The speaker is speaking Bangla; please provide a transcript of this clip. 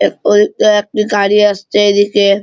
এই পোল --তে একটি গাড়ি আসছে এদিকে।